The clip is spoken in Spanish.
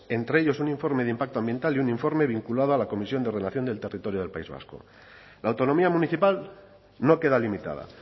entre ellos un informe de impacto ambiental y un informe vinculado a la comisión de ordenación del territorio del país vasco la autonomía municipal no queda limitada